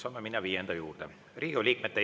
Saame minna viienda juurde.